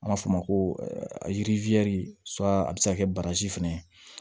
An b'a fɔ o ma ko yiri a bɛ se ka kɛ baraji fana ye